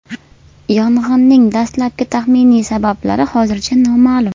Yong‘inning dastlabki taxminiy sabablari hozircha noma’lum.